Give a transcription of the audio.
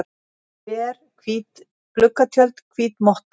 ver, hvít gluggatjöld, hvít motta.